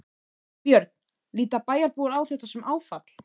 Björn: Líta bæjarbúar á þetta sem áfall?